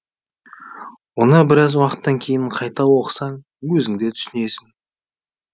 оны біраз уақыттан кейін қайта оқысаң өзің де түсінесің